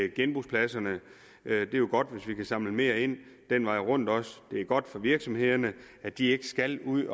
genbrugspladserne det er jo godt hvis vi kan samle mere ind den vej rundt det er godt for virksomhederne at de ikke skal ud